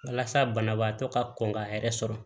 Walasa banabaatɔ ka kɔn ka yɛrɛ sɔrɔ